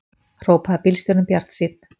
hrópaði bílstjórinn bjartsýnn.